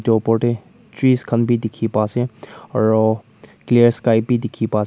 opor te trees khan bi dikhi pa ase aru clear sky bi dikhi pa ase.